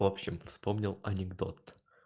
в общем вспомнил анекдот